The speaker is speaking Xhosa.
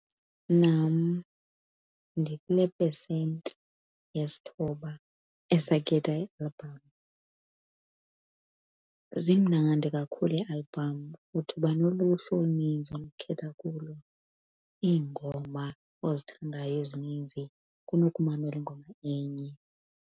Nam ndikule pesenti yesithoba esakhetha iialbham. Zimnandi kakhulu iialbham futhi uba noluhlu oluninzi onokukhetha kulo iingoma ozithandayo ezininzi kunokumamela ingoma enye.